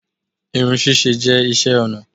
Irun ṣíṣe jẹ́ iṣẹ́ ọnà